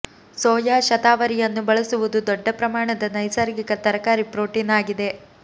soya ಶತಾವರಿಯನ್ನು ಬಳಸುವುದು ದೊಡ್ಡ ಪ್ರಮಾಣದ ನೈಸರ್ಗಿಕ ತರಕಾರಿ ಪ್ರೋಟೀನ್ ಆಗಿದೆ